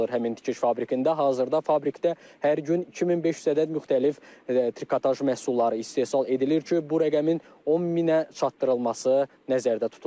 Həmin tikiş fabrikində hazırda fabrikdə hər gün 2500 ədəd müxtəlif trikotaj məhsulları istehsal edilir ki, bu rəqəmin 10000-ə çatdırılması nəzərdə tutulur.